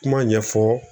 Kuma ɲɛfɔ